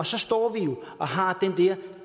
så står vi og har den der